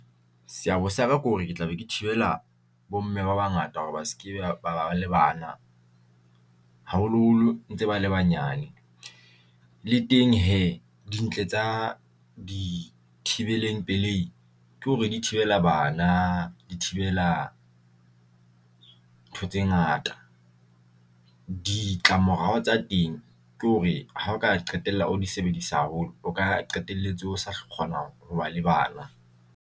Seabo sa ka ke hore ke tla be ke thibela bo mme ba bangata hore ba se ke ba ba le bana, haholoholo ntse ba le banyane le teng hee dintle tsa dithibeleng pelehi ke hore di thibela bana di thibela ntho tse ngata. Ditlamorao tsa teng ke hore ha o ka qetella o di sebedisa haholo, o ka qetelletse o sa kgona ho ba le bana.